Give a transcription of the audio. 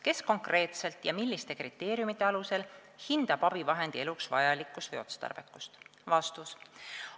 Kes konkreetselt ja milliste kriteeriumite alusel hindab abivahendi eluks vajalikkust või otstarbekust?